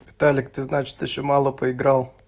виталик ты значит ещё мало поиграл